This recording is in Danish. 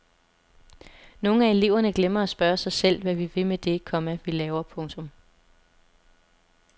Nogle af eleverne glemmer at spørge sig selv hvad vi vil med det, komma vi laver. punktum